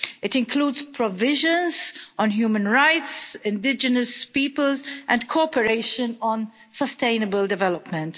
It includes provisions on human rights, indigenous peoples and cooperation on sustainable development.